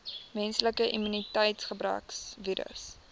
menslike immuniteitsgebrekvirus